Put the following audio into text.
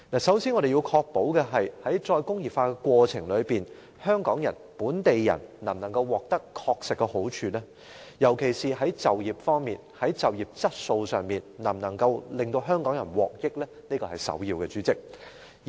首先，我們要確保在實現"再工業化"的過程中，香港人亦即本地人確實能夠得到好處，尤其是在就業方面和就業質素方面，香港人能夠受惠。